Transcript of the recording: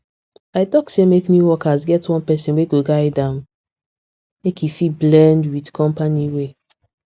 i talk say make new workers get one person wey go guide am make e fit blend with company way